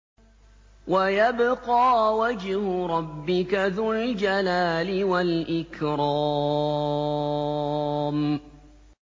وَيَبْقَىٰ وَجْهُ رَبِّكَ ذُو الْجَلَالِ وَالْإِكْرَامِ